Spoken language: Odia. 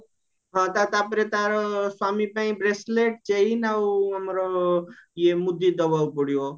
ହଁତା ତାପରେ ତାର ସ୍ଵାମୀ ପାଇଁ ବ୍ରେସଲେଟ ଚେନ ଆଉ ଆମର ଆଉ ମୁଦି ଦବାକୁ ପଡିବ